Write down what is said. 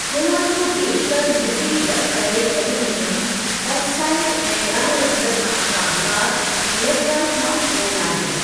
गोवा जो बेशितरु मिट्टी डकु फ़ेरिक एल्यूमीनियम ऑक्साइड ऐं ॻाढ़े रंग सां शाहूकारु लेटराइट मां ठहियलु आहे।